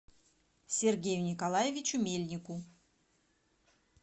сергею николаевичу мельнику